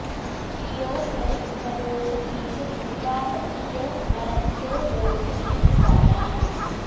वि यो भरि॑भ्र॒दोष॑धीषु जि॒ह्वामत्यो॒ न रथ्यो॑ दोधवीति॒ वारा॑न्